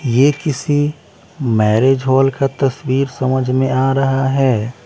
ये किसी marriage hall का तस्वीर समझ में आ रहा हैं।